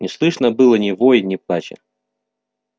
не слышно было ни воя ни плача